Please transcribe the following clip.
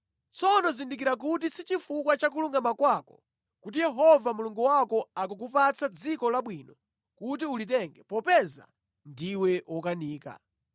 Tsono zindikira kuti si chifukwa cha kulungama kwako kuti Yehova Mulungu wako akukupatsa dziko labwinoli kuti ulitenge popeza ndiwe wokanika.